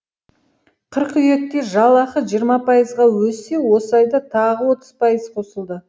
қыркүйекте жалақы жиырма пайызға өссе осы айда тағы отыз пайыз қосылды